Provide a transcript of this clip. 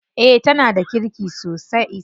Eh tana da kirki sosai.